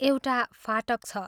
एउटा फाटक छ।